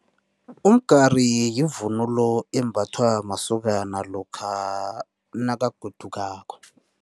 Umgari yivunulo embathwa masokana lokha nakagodukako.